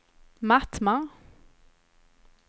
Mattmar